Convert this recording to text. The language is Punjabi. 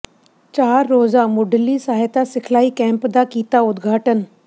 ਚਾਰ ਰੋਜ਼ਾ ਮੁੱਢਲੀ ਸਹਾਇਤਾ ਸਿਖਲਾਈ ਕੈਂਪ ਦਾ ਕੀਤਾ ਉਦਘਾਟਨ